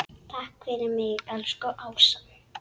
Takk fyrir mig, elsku Ása.